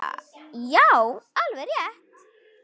Já, alveg rétt.